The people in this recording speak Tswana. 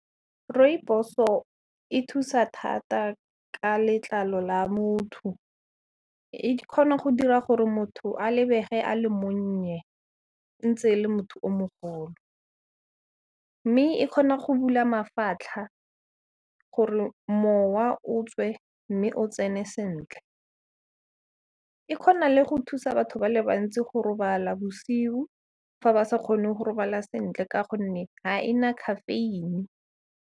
Rooibos-o e thusa thata ka letlalo la motho, e kgona go dira gore motho a lebege a le monnye ntse e le motho o mogolo, mme e kgona go bula mafatlha gore mowa o tswe, mme o tsene sentle. E kgona le go thusa batho ba le bantsi go robala bosiu fa ba sa kgone go robala sentle ka gonne ga ena caffeine.